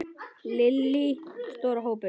Lillý: Stór hópur?